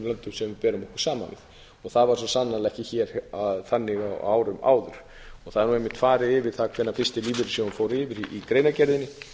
löndum sem við berum okkur saman við það var svo sannarlega ekki hér þannig á árum áður það er einmitt farið yfir það hvenær fyrsti lífeyrissjóðurinn fór yfir í greinargerðinni